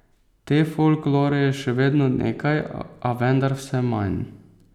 Te folklore je še vedno nekaj, a vendar vse manj.